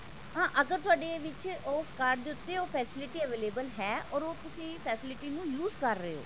ਹਾਂ ਅਗਰ ਤੁਹਾਡੇ ਵਿੱਚ ਉਸ card ਦੇ ਉੱਤੇ ਉਹ facility available ਹੈ ਤੇ ਉਹ facility ਨੂੰ ਤੁਸੀਂ use ਕਰ ਰਹੇ ਹੋ